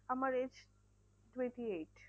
আমার age twenty-eight